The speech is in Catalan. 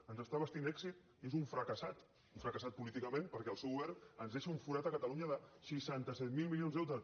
ens està vestint èxit i és un fracassat un fracassat políticament perquè el seu govern ens dei·xa un forat a catalunya de seixanta set mil de deute